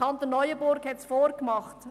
Der Kanton Neuenburg hat es vorgemacht: